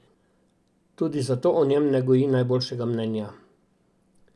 Tudi zato o njem ne goji najboljšega mnenja.